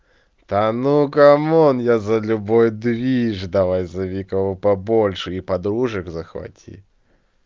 да ну камон я за любой движ давай зови кого большие и подружек захвати